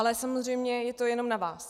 Ale samozřejmě je to jenom na vás.